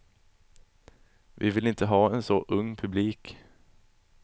Vi vill inte ha en så ung publik.